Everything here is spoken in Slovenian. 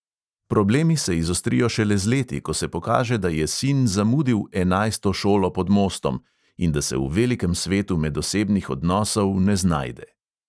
Problemi se izostrijo šele z leti, ko se pokaže, da je sin zamudil "enajsto šolo pod mostom" in da se v velikem svetu medosebnih odnosov ne znajde.